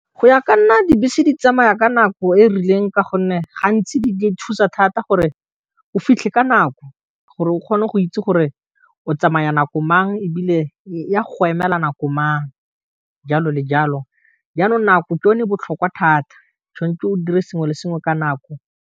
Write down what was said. Go ya ka nna dibese di tsamaya ka nako e rileng ka gonne gantsi di thusa thata gore o fitlhe ka nako gore o kgone go itse gore o tsamaya nako mang e bile ya go go emela nako mang jalo le jalo, jaanong nako ke yo ne e botlhokwa thata, o tshwentse o dire sengwe le sengwe ka nako.